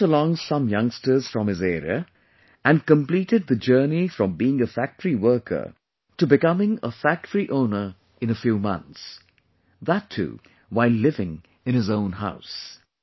He brought along some youngsters from his area and completed the journey from being a factory worker to becoming a factory owner in a few months ; that too while living in his own house